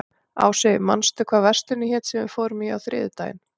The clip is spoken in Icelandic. Ást, manstu hvað verslunin hét sem við fórum í á þriðjudaginn?